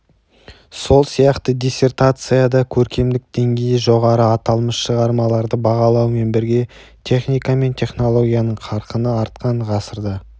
сол сияқты диссертацияда көркемдік деңгейі жоғары аталмыш шығармаларды бағалаумен бірге техника мен технологияның қарқыны артқан ғасырда